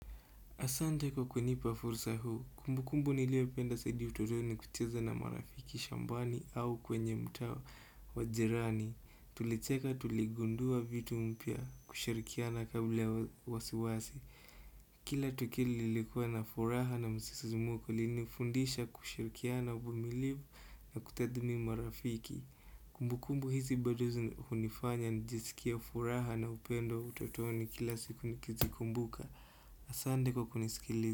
Asante kwa kunipa fursa huu, kumbukumbu niliopenda zaidi utotoni kucheza na marafiki shambani au kwenye mtao wajirani. Tulicheka tuligundua vitu mpya kushirikiana kabla ya wasiwasi. Kila tukili likuwa na furaha na msisi muko linifundisha kusharikiana bumilivu na kutadmi marafiki. Kumbukumbu hizi bado zi unifanya nijiskie furaha na upendo utotoni kila siku nikizikumbuka. Asante kwa kunisikili.